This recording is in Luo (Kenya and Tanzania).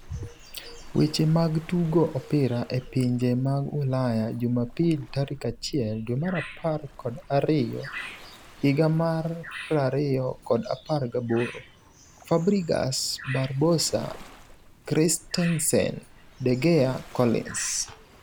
Weche mag Tugo Opira e Pinje mag Ulaya Jumpil 01.12.2018: Fabregas, Barbosa, Christensen, De Gea, Collins